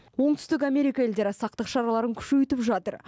оңтүстік америка елдері сақтық шараларын күшейтіп жатыр